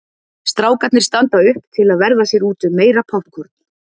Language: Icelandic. Strákarnir standa upp til að verða sér úti um meira poppkorn.